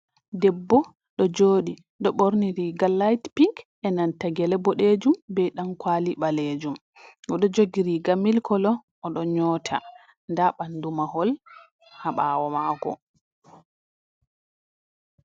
Debbo ɗo joɗi ɗo ɓorni riga lait pink e nanta gele boɗejum be ɗan kwali ɓalejum o ɗo jogi riga milik kolo o ɗon nyota nda ɓandu mahol ha ɓawo mako.